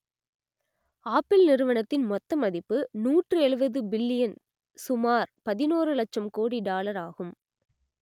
apple நிறுவனத்தின் மொத்த மதிப்பு நூற்று எழுபது பில்லியன் சுமார் பதினோறு இலட்சம் கோடி டாலர் ஆகும்